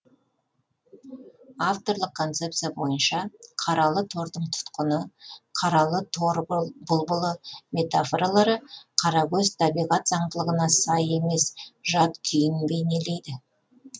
авторлық концепция бойынша қаралы тордың тұтқыны қаралы тор бұлбұлы метафоралары қарагөз табиғат заңдылығына сай емес жат күйін бейнелейді